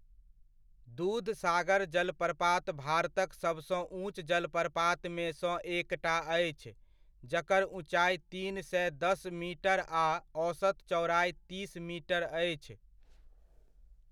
दूधसागर जलप्रपात भारतक सबसँ ऊँच जलप्रपातमे सँ एकटा अछि जकर ऊँचाइ तीन सए दस मीटर आ औसत चौड़ाइ तीस मीटर अछि।